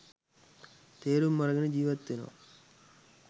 තේරුම් අරගෙන ජීවත් වෙනවා